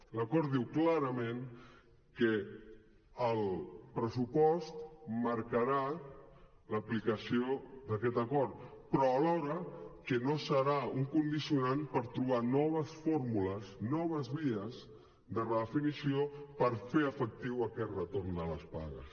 l’acord diu clarament que el pressupost marcarà l’aplicació d’aquest acord però alhora que no serà un condicionant per trobar noves fórmules noves vies de redefinició per fer efectiu aquest retorn de les pagues